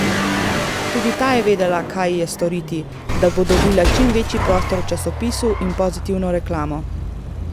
Tudi ta je vedela, kaj ji je storiti, da bo dobila čim večji prostor v časopisu in pozitivno reklamo ...